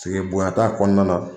bonya t'a kɔnɔna na